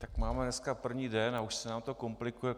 Tak máme dneska první den a už se nám to komplikuje.